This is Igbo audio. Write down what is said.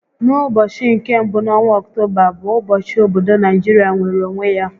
N'ụbọchị nke mbụ n'ọnwa Ọctoba bụ ụbọchị obodo nigeria nweere onwe ya